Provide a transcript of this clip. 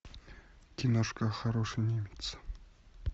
киношка хороший немец